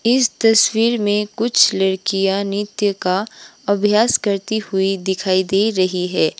इस तस्वीर में कुछ लड़कियां नित्य का अभ्यास करती हुई दिखाई दे रही है।